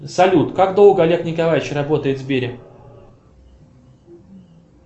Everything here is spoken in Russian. салют как долго олег николаевич работает в сбере